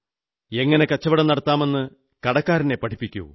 എങ്ങനെ കച്ചവടം നടത്താമെന്ന് കടക്കാരനെ പഠിപ്പിക്കൂ